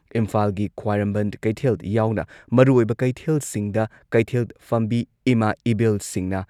ꯏꯝꯐꯥꯜꯒꯤ ꯈ꯭ꯋꯥꯏꯔꯝꯕꯟ ꯀꯩꯊꯦꯜ ꯌꯥꯎꯅ ꯃꯔꯨꯑꯣꯏꯕ ꯀꯩꯊꯦꯜꯁꯤꯡꯗ ꯀꯩꯊꯦꯜ ꯐꯝꯕꯤ ꯏꯃꯥ ꯏꯕꯦꯜꯁꯤꯡꯅ